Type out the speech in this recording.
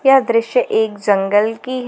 यह दृश्य एक जंगल की है।